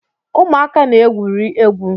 Ụmụaka na-egwuri egwu